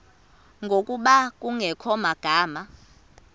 ngokuba kungekho magama